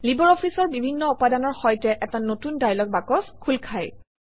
LibreOffice অৰ বিভিন্ন উপাদানৰ সৈতে এটা নতুন ডায়লগ বাকচ খোল খায়